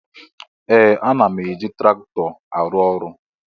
Ee! Ana m eji traktọ arụ ọrụ.